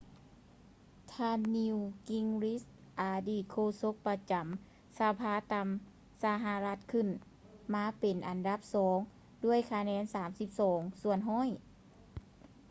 ທ່ານ ນີວ ກິງຣິດ newt gingrich ອະດີດໂຄສົກປະຈຳສະພາຕ່ຳຂອງສະຫະລັດຂຶ້ນມາເປັນອັນດັບສອງດ້ວຍຄະແນນ 32 ສ່ວນຮ້ອຍ